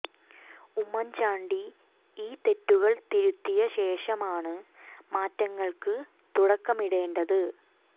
ഉമ്മൻ ചാണ്ടി ഈ തെറ്റുകൾ തിരുത്തിയ ശേഷമാണ് മാറ്റങ്ങൾക്ക് തുടക്കം ഇടേണ്ടത്